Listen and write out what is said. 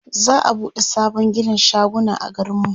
za'a buɗe sabon ginin shaguna a garin mu